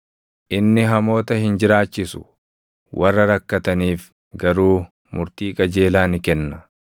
Inni hamoota hin jiraachisu; warra rakkataniif garuu murtii qajeelaa ni kenna.